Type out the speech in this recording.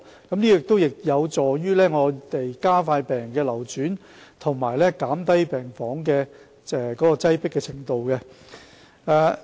這有助於加快病人的流轉，以及減低病房的擠迫程度。